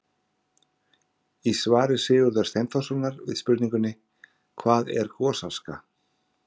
Í svari Sigurðar Steinþórssonar við spurningunni: Hvað er gosaska?